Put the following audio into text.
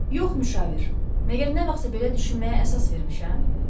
Yox, müşavir, məgər nə vaxtsa belə düşünməyə əsas vermişəm?